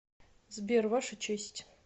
сбер ваша честь